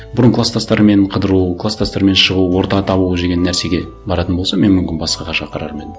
бұрын кластастарымен қыдыру кластастарымен шығу орта табу деген нәрсеге баратын болса мен мүмкін басқаға шақырар ма едім